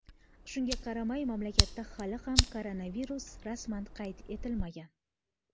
Shunga qaramay, mamlakatda hali ham koronavirus rasman qayd etilmagan.